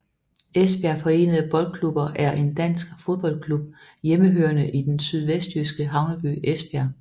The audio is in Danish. Esbjerg forenede Boldklubber er en dansk fodboldklub hjemmehørende i den sydvestjyske havneby Esbjerg